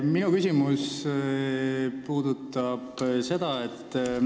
Tere, Kadri!